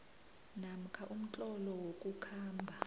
namkha umtlolo wokukhamba